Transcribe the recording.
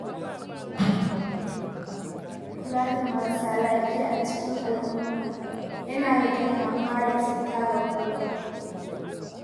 Kula da marasa lafiya a cikin al’umma yana rage kamuwa da cuta ga kowa.